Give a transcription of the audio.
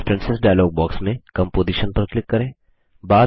preferences dialog box में composition पर click करें